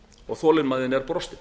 og þolinmæðin er brostin